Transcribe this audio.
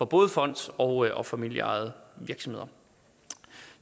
både fonds og og familieejede virksomheder